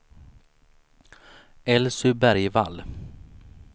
Elsy Bergvall